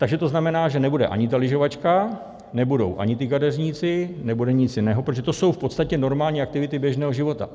Takže to znamená, že nebude ani ta lyžovačka, nebudou ani ti kadeřníci, nebude nic jiného, protože to jsou v podstatě normální aktivity běžného života.